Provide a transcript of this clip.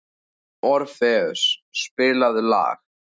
Orfeus, spilaðu lag.